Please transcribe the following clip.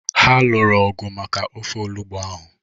Ha lụrụ ọgu maka ọfe olugbu ahụ